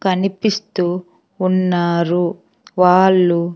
కనిపిస్తూ ఉన్నారు వాళ్ళు--